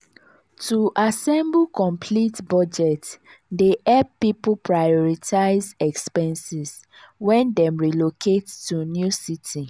to assemble complete budget dey hep pipul prioritize expenses wen dem relocate to new city.